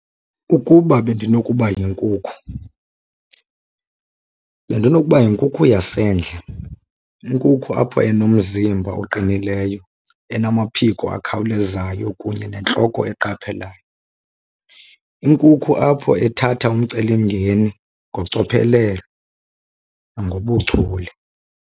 Ukuba bendinokuba yinkukhu bendinokuba yinkukhu yasendle, inkukhu apha enomzimba oqinileyo, enamaphiko akhawulezayo kunye nentloko eqaphelayo. Inkukhu apho ethatha umcelimngeni ngocophelelo nangobuchule.